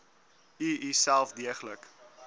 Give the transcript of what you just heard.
u uself deeglik